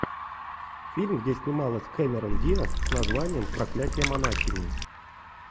фильм где снималась кэмерон диаз с названием проклятие монахини